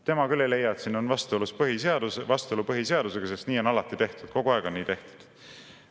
Tema küll ei leia, et siin on vastuolu põhiseadusega, sest nii on alati tehtud, kogu aeg on nii tehtud.